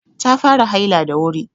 Ta fara haila da wuri.